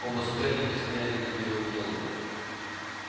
оба соперника стояли над его телом